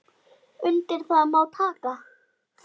Undir það má taka.